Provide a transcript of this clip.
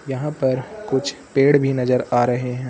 यहां पर कुछ पेड़ भी नजर आ रहे हैं।